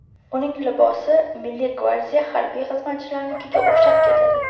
Uning libosi Milliy gvardiya harbiy xizmatchilarnikiga o‘xshab ketadi.